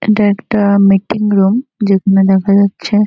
এটা একটা meeting room যেখানে দেখা যাচ্ছে--